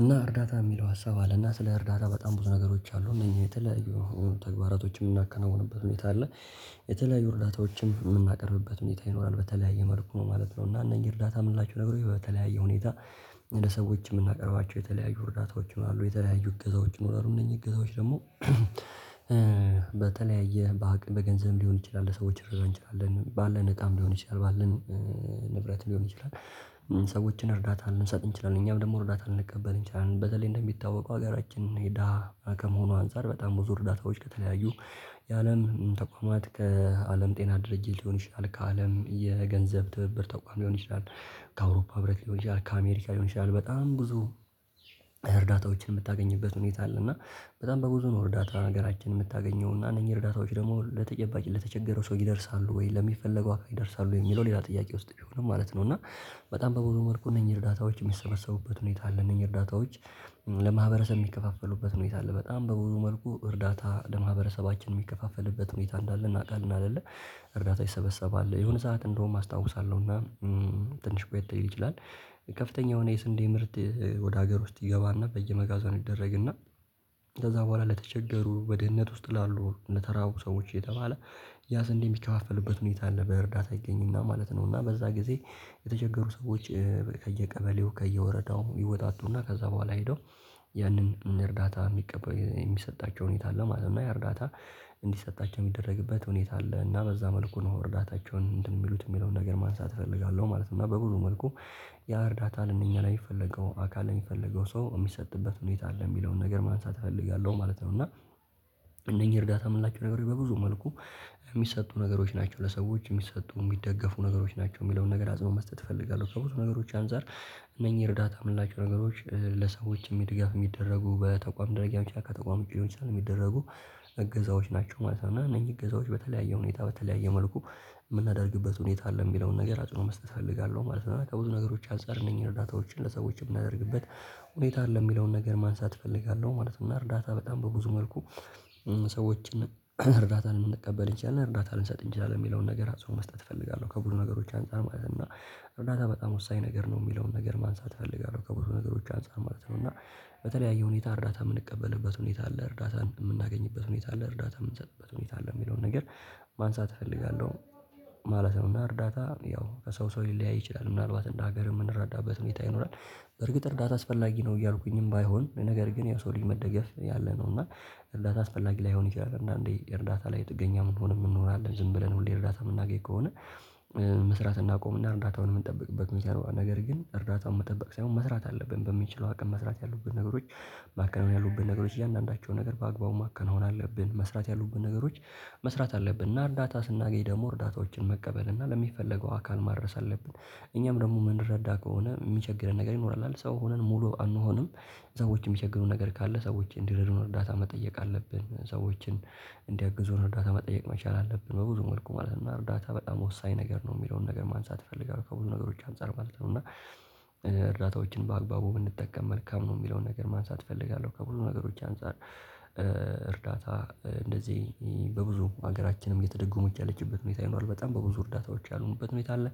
እና እርዳታ የሚለው ሀሳብ አለና ስለ እርዳታ በጣም ብዙ ነገሮች አሉ እነዚህ የተለያዩ ተግባራቶችን የምናከናውንበት ሁኔታ አለ የተለያዩ እርዳታዎችን የምናቀርብበት ሁኔታ ይኖራል። በተለያየ መልኩ ነው ማለት ነው። እና እነኚህ እርዳታ የምንላችው ነገሮች በተለያየ ሁኔታ ለሰዎች የምናቀርባቸው የተለያዩ እርዳታዎች ይኖራሉ። የተለያዩ እገዛዎች ይኖራሉ። እነዚህ እገዛዎች ደግሞ በተለያየ በገንዘብ ሊሆን ይችላል ሰዎች ልንረዳ እንችላለን፣ ባለን እቃም ሊሆን ይችላል ባለን ንብረት ሊሆን ይችላል። ሰዎችን እርዳታ ልንሰጥ እንችላለን። እኛም ደግሞ እርዳታ ልንቀበል እንችላለን። በተለይ እንደሚታወቀው ሀገራችን የደሃ ከመሆኗ አንፃር በጣም ብዙ እርዳታዎች ከተለያዩ ያለን ተቋማት ከአለም ጤና ድርጅት ሊሆን ይችላል፣ ከአለም የገንዘብ ትብብር ተቋም ሊሆን ይችላል፣ ከአውሮፓ ብርሃን ሊሆን ይችላል፣ ከአሜሪካ ሊሆን ይችላል በጣም ብዙ እርዳታዎችን የምታገኝበት ሁኔታ አለ እና በጣም በብዙ ነው እርዳታ ሀገራችን የምታገኘው እና እነኚህ እርዳታዎች ደግሞ ለተጨባጭ ለተቸገረው ሰው ይደርሳሉ ወይ? ለሚፈለገው አካል ይደርሳሉ ወይ? የሚለው ሌላ ጥያቄ ውስጥ ቢሆንም ማለት ነው እና በጣም በብዙ መልኩ እነኚህ እርዳታዎች የሚሰበሰቡበት ሁኔታ አለ። እነኚህ እርዳታዎች ለማህበረሰብ የሚከፋፈሉበት ሁኔታ አለ። በጣም በብዙ መልኩ እርዳታ ለማህበረሰባችን የሚከፋፈልበት ሁኔታ እንዳለ እናውቃለን አይደለ? እርዳታ ይሰበሰባል። የሆነ ሰዓት እንደውም አስታውሳለሁ እና ትንሽ ቆየት ሊል ይችላል ከፍተኛ የሆነ የስንዴ ምርት ወደ ሀገር ውስጥ ይገባና በየመጋዝኑ ይደረግና ከዛ በኋላ ለተቸገሩ በድህነት ውስጥ ላሉ ለተራቡ ሰዎች እየተባለ ያ ስንዴ የሚከፋፈልበት ሁኔታ አለ። በእርዳታ ይገኝና ማለት ነው። እና በዛ ጊዜ የተቸገሩ ሰዎች ከየቀበሌው፣ ከየወረዳው ይወጣጡና ከዛ በኋላ ሄደው ያንን እርዳታ የሚቀበል የሚሰጣቸው ሁኔታ አለ ማለት ነው እና ያ እርዳታ እንዲሰጣቸው የሚደረግበት ሁኔታ አለ እና በዛ መልኩ ነው እርዳታቸውን እንትን የሚሉት የሚለውን ነገር ማንሳት እፈልጋለሁ ማለት ነው። እና በብዙ መልኩ ያ እርዳታ ለእነኛ ለሚፈለገው አካል ለሚፈለገው ሰው የሚሰጥበት ሁኔታ አለ የሚለውን ነገር ማንሳት እፈልጋለሁ ማለት ነው እና እነኚህ እርዳታ የምንላችው ነገሮች በብዙ መልኩ የሚሰጡ ነገሮች ናቸው። ለሰዎች የሚሰጡ የሚደገፉ ነገሮች ናቸው የሚለውን ነገር አጽንኦት መስጠት እፈልጋለሁ። ከብዙ ነገሮች አንፃር እነኚህ እርዳታ የምንላቸው ነገሮች ለሰዎች ድጋፍ የሚደረጉ በተቋም ደረጃ ሊሆን ይችላል፤ ከተቋም ዉጪ ሊሆን ይችላል እገዛዎች ናቸው ማለት ነው። እና እነኚህ እገዛዎች በተለያየ ሁኔታ፣ በተለያየ መልኩ የምናደርግበት ሁኔታ አለ የሚለውን ነገር አጽንኦት መስጠት እፈልጋለሁ ማለት ነው። ከብዙ ነገሮች አንፃር እነኚህ እርዳታዎችን ለሰዎች የምናደርግበት ሁኔታ አለ የሚለውን ነገር ማንሳት እፈልጋለሁ ማለት ነው። እና እርዳታ በጣም በብዙ መልኩ ሰዎችን እርዳታን ልንቀበል እንችላለን፣ እርዳታ ልንሰጥ እንችላለን የሚለውን ነገር አጽንኦት መስጠት እፈልጋለሁ። ከብዙ ነገሮች አንፃር ማለት ነው እና እርዳታ በጣም ወሳኝ ነገር ነው የሚለውን ነገር ማንሳት እፈልጋለሁ ከብዙ ነገሮች አንፃር ማለት ነው እና በተለያየ ሁኔታ እርዳታ የምንቀበልበት ሁኔታ አለ። እርዳታን የምናገኝበት ሁኔታ አለ። እርዳታ የምንሰጥበት ሁኔታ አለ የሚለውን ነገር ማንሳት እፈልጋለሁ ማለት ነው። እና እርዳታ ያው ከሰው ሰው ሊለያይ ይችላል። ምናልባት እንደ ሀገር የምንረዳበት ሁኔታ ይኖራል። በርግጥ እርዳታ አስፈላጊ ነው እያልኩኝም ባይሆን ነገር ግን የሰው ልጅ መደገፍ ያለ ነው። እና እርዳታ አስፈላጊ ላይሆን ይችላል። አንዳንዴ እርዳታ ላይ ጥገኛ የምንሆንም የምንኖር አለ ዝም ብለን ሁሌ እርዳታ የምናገኝ ከሆነ መስራት እናቆምና እርዳታውን የምንጠብቅበት ሁኔታ ይኖራል። ነገር ግን እርዳታውን መጠበቅ ሳይሆን መስራት አለብን በምንችለው አቅም መስራት ያሉብን ነገሮች ማከናወን ያሉብን ነገሮች እያንዳንዳቸው ነገር በአግባቡ ማከናወን አለብን። መስራት ያሉብን ነገሮች መስራት አለብን። እና እርዳታ ስናገኝ ደግሞ እርዳታዎችን መቀበል እና ለሚፈለገው አካል ማድረስ አለብን። እኛም ደግሞ የምንረዳ ከሆነ የሚቸግረን ነገር ይኖራል አይደል ሰው ሆነን ሙሉ አንሆንም ሰዎች የሚቸግሩን ነገር ካለ ሰዎች እንዲረዱን እርዳታ መጠየቅ አለብን ሰዎችን እንዲያግዙን እርዳታ መጠየቅ መቻል አለብን በብዙ መልኩ ማለት ነው። እርዳታ በጣም ወሳኝ ነገር ነው የሚለውን ነገር ማንሳት እፈልጋለሁ ከብዙ ነገሮች አንፃር ማለት ነው እና እርዳታዎችን በአግባቡ ብንጠቀም መልካም ነው የሚለውን ነገር ማንሳት እፈልጋለሁ። ከብዙ ነገሮች አንፃር እርዳታ እንደዚህ በብዙ ሀገራችንም እየተደጎመች ያለችበት ሁኔታ ይኖራል። በጣም በብዙ እርዳታዎች ያለንበት ሁኔታ አለ